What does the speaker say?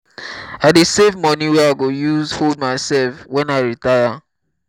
i dey save moni wey i go use hold mysef wen i retire.